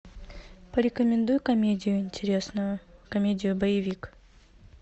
порекомендуй комедию интересную комедию боевик